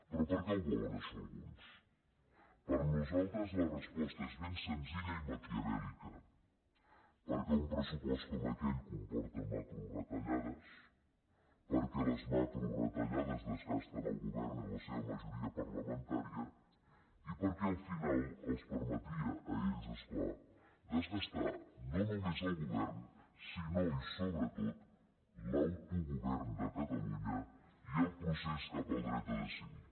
però per què ho volen això alguns per nosaltres la resposta és ben senzilla i maquiavèllica perquè un pressupost com aquell comporta macroretallades perquè les macroretallades desgasten el govern i la seva majoria parlamentària i perquè al final els permetria a ells és clar desgastar no només el govern sinó i sobretot l’autogovern de catalunya i el procés cap al dret a decidir